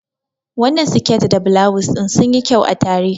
Wannan siket da bulawus ɗin sunyi kyau a tare.